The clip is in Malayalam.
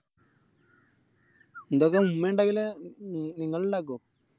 മ്മക്ക് ഈലിണ്ടെങ്കില് ഇങ്ങളിണ്ടക്കോ